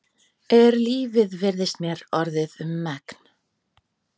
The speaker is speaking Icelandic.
Er lífið virðist mér orðið um megn.